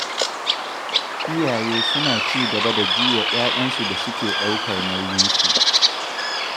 Iyaye suna ci gaba da juya 'ya'yansu da suke ɗaukar nauyinsu.